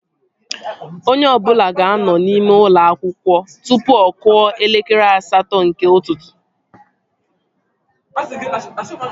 Onye ọbụla ga-anọ n'ime ụlọ akwụkwọ tụpụ ọ kụọ elekere asatọ nke ụtụtụ